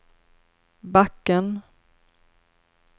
backen